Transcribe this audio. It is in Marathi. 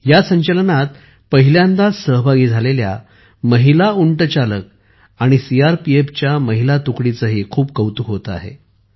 या संचलनात पहिल्यांदाच सहभागी झालेल्या महिला उंट चालक आणि सीआरपीएफच्या महिला तुकडीचेही खूप कौतुक होते आहे